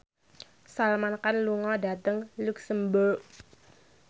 Salman Khan lunga dhateng luxemburg